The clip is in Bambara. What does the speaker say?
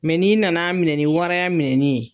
n'i nan'a minɛ ni waraya minɛni ye